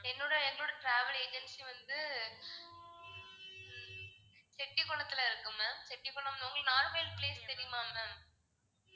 என்னோட எங்களோட travel agency வந்து செட்டி குளத்துல இருக்கு ma'am செட்டி குளம் உங்களுக்கு நாகர்கோவில் place தெரியுமா ma'am